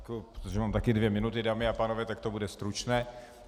Protože mám také dvě minuty, dámy a pánové, tak to bude stručné.